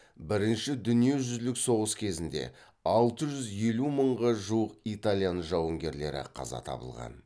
бірінші дүниежүзілік соғыс кезінде алты жүз елу мыңға жуық италиян жауынгерлері қаза табылған